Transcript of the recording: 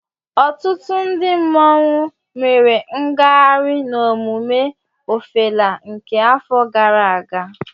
ọtụtụ ndị mmanwụ mere ngagharị n'emume Ọfala nke afọ gara aga